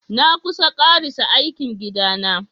Na kusan karasa aikin gida na.